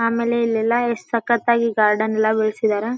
ಆಮೇಲೆ ಇಲ್ಲೆಲ್ಲಾ ಎಷ್ಟ ಸಕ್ಕತ್ ಆಗಿ ಗಾರ್ಡನ್ ಎಲ್ಲಾ ಬೆಳ್ಸಿದರ.